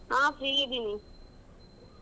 ಆಹ್ free ಇದೀನಿ.